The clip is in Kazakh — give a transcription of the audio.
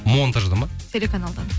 монтажда ма телеканалда